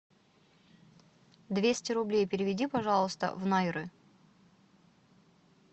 двести рублей переведи пожалуйста в найры